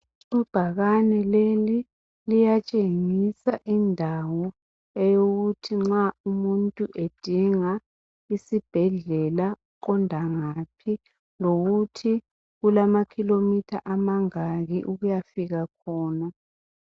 Ibhakani leli liyatshengisa indawo eyokuthi nxa umuntu edinga isibhedlela uqonda ngaphi lokuthi kulamakhilomitha amangaki ukuyafika khona .